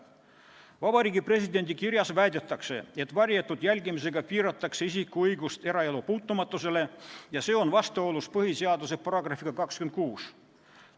Vabariigi Presidendi kirjas väidetakse, et varjatud jälgimisega piiratakse isiku õigust eraelu puutumatusele ja see on vastuolus põhiseaduse §-ga 26.